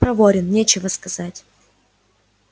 проворен нечего сказать